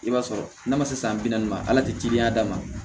I b'a sɔrɔ n'a ma se san bi naani ma ala tɛ teliya d'a ma